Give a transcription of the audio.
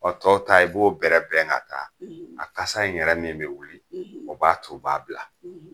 Ɔ tɔw ta i b'o bɛrɛ bɛn ka taa a kasa in yɛrɛ min bɛ wuli o b'a to u b'a bila